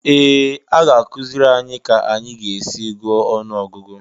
Ee! A ga-akụziri anyị ka anyị ga-esi gụọ ọnụọgụgụ